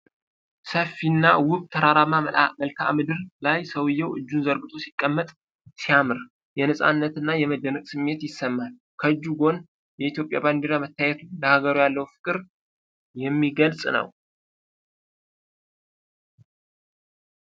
ሰፊና ውብ ተራራማ መልክዓ ምድር ላይ ሰውዬው እጁን ዘርግቶ ሲቀመጥ ሲያምር፣ የነፃነትና የመደነቅ ስሜት ይሰማል። ከእጁ ጎን የኢትዮጵያ ባንዲራ መታየቱ፣ ለሀገሩ ያለውን ፍቅር የሚገልጽ ነው።